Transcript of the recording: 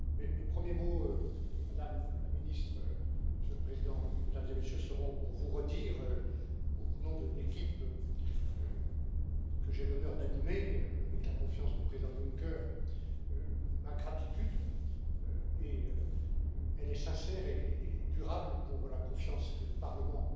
Mes premiers mots, Madame la Ministre, Monsieur le Président, Mesdames et Messieurs, seront pour vous redire, au nom de l'équipe que j'ai l'honneur d'animer avec la confiance du président Juncker, ma gratitude, et elle est sincère et durable, pour la confiance que le Parlement